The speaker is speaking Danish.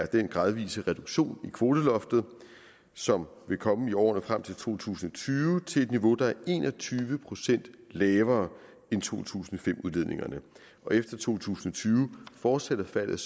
den gradvise reduktion i kvoteloftet som vil komme i årene frem til to tusind og tyve til et niveau der er en og tyve procent lavere end to tusind og fem udledningerne og efter to tusind og tyve fortsætter faldet